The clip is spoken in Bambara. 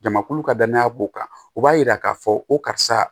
Jamakulu ka danaya b'o kan o b'a yira k'a fɔ ko karisa